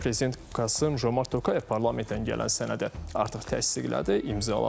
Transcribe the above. Prezident Qasım Jomart Tokayev parlamentdən gələn sənədi artıq təsdiqlədi, imzaladı.